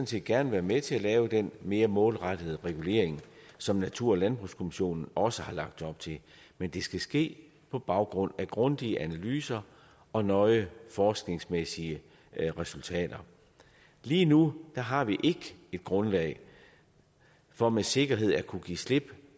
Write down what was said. set gerne være med til at lave den mere målrettede regulering som natur og landbrugskommissionen også har lagt op til men det skal ske på baggrund af grundige analyser og nøje forskningsmæssige resultater lige nu har vi ikke et grundlag for med sikkerhed at kunne give slip